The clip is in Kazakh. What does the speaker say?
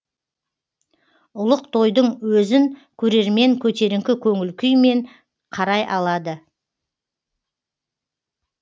ұлық тойдың өзін көрермен көтеріңкі көңіл күймен қарай алады